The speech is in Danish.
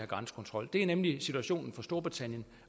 grænsekontrol det er nemlig situationen for storbritannien